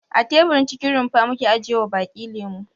A teburin cikin rumfa muke ajiyewa baki lemo.